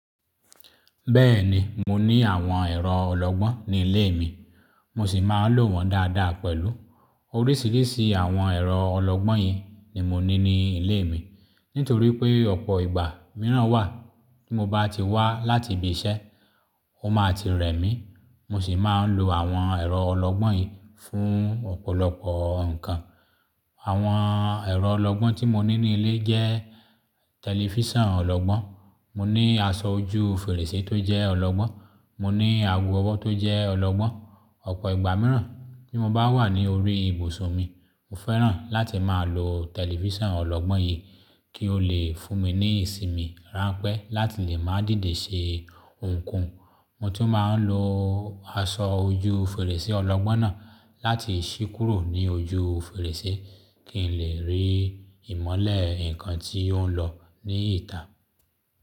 Bẹ́ẹ̀ni, mo ní àwọn ẹ̀rọ ọlọ́gbọ́n ní ilé mi, mo sì máa ń lò wọ́n dáadáa pẹ̀lú. Oríṣìíríṣìí àwọn ẹ̀rọ ọlọ́gbọ́n yìí ni mo ní ní ilé mi. Nítorí pé ọ̀pọ̀ ìgbà mìíràn wà tí mo bá ti wá láti ibi iṣẹ́, ó máa ti rẹ mí, mo sì máa ń lo àwọn ẹ̀rọ ọlọ́gbọ́n yìí fún ọ̀pọ̀lọpọ̀ nǹkan. Àwọn ẹ̀rọ ọlọ́gbọ́n tí mo ní ní ilé jẹ́ tẹlifíṣàn ọlọ́gbọ́n, mo ní aṣọ ojú fèrèsé tó jẹ́ ọlọ́gbọ́n, mo ní ago ọwọ́ tó jẹ́ ọlọ́gbọ́n. Ọ̀pọ̀ ìgbà mìíràn tí mo bá wà ní orí ibùsùn mi, mo fẹ́ràn láti máa lo tẹlifíṣàn ọlọ́gbọ́n yìí kí ó lè fún mi ní ìsinmi ránpẹ́ láti lè máa dìde ṣe ohunkóhun. Mo tun máa ń lo aṣọ ojú fèrèsé ọlọ́gbọ́n náà láti ṣí kúrò ní ojú fèrèsé kí n lè rí ìmọ́lẹ̀ nǹkan tí ó ń lọ ní ìta.